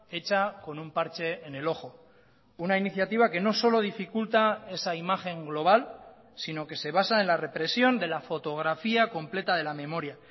hecha con un parche en el ojo una iniciativa que no solo dificulta esa imagen global sino que se basa en la represión de la fotografía completa de la memoria